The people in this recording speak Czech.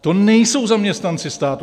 To nejsou zaměstnanci státu.